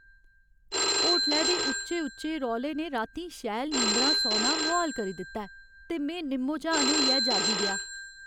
होटलै दे उच्चे उच्चे रौले ने रातीं शैल नींदरा सौना मुहाल करी दित्ता ऐ ते में निम्मो झान होइयै जागी गेआ।